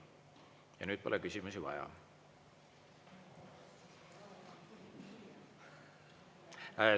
Ja nüüd pole küsimusi vaja.